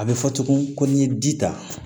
A bɛ fɔ tugun ko n'i ye ji ta